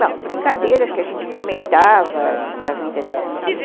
Bom, brincadeiras que a gente comentava na vida dos vizinhos.